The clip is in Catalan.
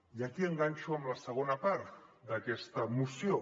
i aquí enganxo amb la segona part d’aquesta moció